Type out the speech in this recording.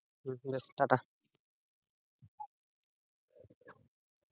হম বেশ টাটা।